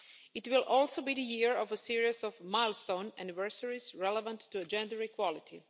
It will also be the year of a series of milestone anniversaries relevant to gender equality.